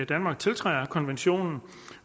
danmark tiltræder konventionen